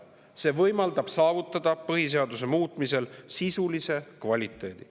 See võimaldab saavutada põhiseaduse muutmisel sisulise kvaliteedi.